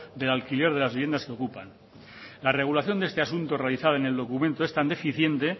del alquiler de las viviendas que ocupan la regulación de este asunto realizado en el documento es tan deficiente